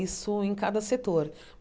Isso em cada setor.